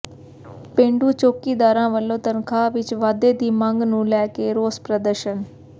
ਪੇਂਡੂ ਚੌਕੀਦਾਰਾਂ ਵਲੋਂ ਤਨਖਾਹ ਵਿੱਚ ਵਾਧੇ ਦੀ ਮੰਗ ਨੂੰ ਲੈ ਕੇ ਰੋਸ ਪ੍ਰਦਰਸ਼ਨ